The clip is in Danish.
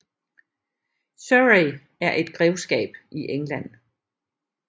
Surrey er et grevskab i England